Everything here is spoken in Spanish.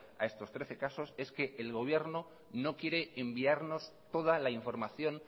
a estos trece casos es que el gobierno no quiere enviarnos toda la información